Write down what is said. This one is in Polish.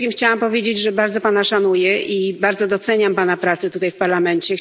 Przede wszystkim chciałam powiedzieć, że bardzo Pana szanuję i bardzo doceniam Pana pracę tutaj w Parlamencie.